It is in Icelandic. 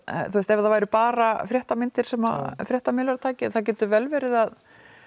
ef það væru bara fréttamyndir sem fréttamiðlar tækju en það getur vel verið að